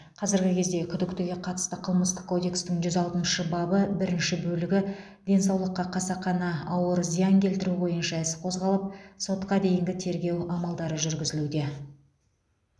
қазіргі кезде күдіктіге қатысты қылмыстық кодекстің жүз алтыншы бабы бірінші бөлігі денсаулыққа қасақана ауыр зиян келтіру бойынша іс қозғалып сотқа дейінгі тергеу амалдары жүргізілуде